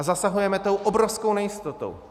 A zasahujeme tou obrovskou nejistotou.